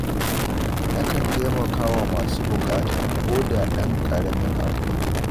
Nakan taimaka wa masu buƙata ko da ɗan ƙaramin abu ne.